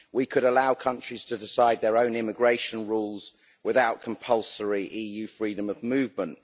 We could allow countries to decide their own immigration rules without compulsory EU freedom of movement.